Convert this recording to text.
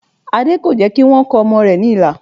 Adé kò jẹ́ kí wọ́n kọ ọmọ rẹ̀ ní ilà